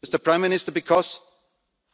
remark. Prime Minister, because